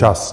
Čas!